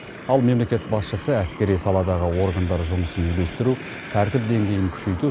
ал мемлекет басшысы әскери саладағы органдар жұмысын үйлестіру тәртіп деңгейін күшейту